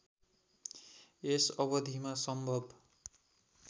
यस अवधिमा सम्भव